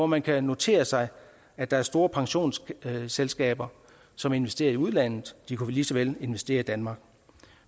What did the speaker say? man kan notere sig at der er store pensionsselskaber som investerer i udlandet de kunne lige så vel investere i danmark